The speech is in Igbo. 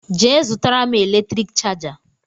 Je zụtara m eletrik chaja